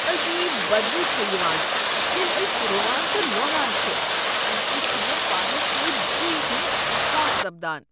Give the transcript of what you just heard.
عجیب بدبو چھےٚ یوان ییٚلہ أسۍ رُوان تہٕ لونان چھ ، امہ سۭتۍ چھُ مےٚ پانس سۭتۍ دٕیہ ہُند احساس سپدان۔